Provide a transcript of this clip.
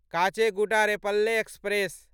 Kacheguda Repalle express